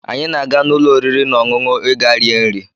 Anyị na-aga n'ụlọ oriri na ọṅụṅụ ịga rie nri